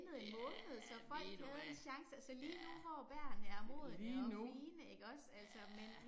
Ja ved du hvad. Ja. Lige nu. Ja